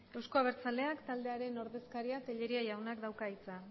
euzko abertzaleak taldearen ordezkariak tellería jauna dauka hitza